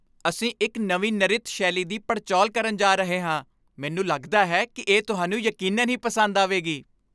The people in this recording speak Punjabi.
ਅਸੀਂ ਇੱਕ ਨਵੀਂ ਨਰਿਤ ਸ਼ੈਲੀ ਦੀ ਪੜਚੋਲ ਕਰਨ ਜਾ ਰਹੇ ਹਾਂ, ਮੈਨੂੰ ਲਗਦਾ ਹੈ ਕਿ ਇਹ ਤੁਹਾਨੂੰ ਯਕੀਨਨ ਹੀ ਪਸੰਦ ਆਵੇਗੀ।